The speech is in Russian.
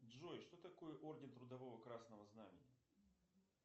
джой что такое орден трудового красного знамени